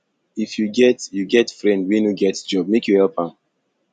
if you get you get friend wey no get job make you help am